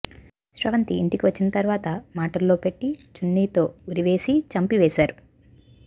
స్రవంతి ఇంటికి వచ్చిన తర్వాత మాటల్లో పెట్టి చున్నీతో ఉరివేసి చంపివేశారు